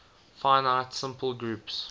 finite simple groups